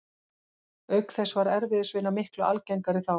Auk þess var erfiðisvinna miklu algengari þá.